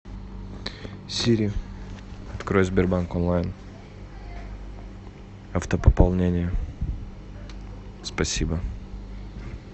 сири открой сбербанк онлайн автопополнение спасибо